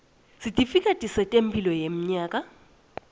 sitifiketi setemphilo yenyama